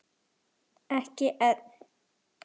Ekki enn.